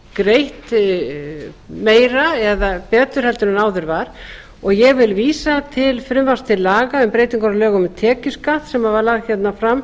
greitt meira eða betur heldur en áður var og ég vil vísa til frumvarps til laga um breytingar á lögum um tekjuskatt sem var lagt fram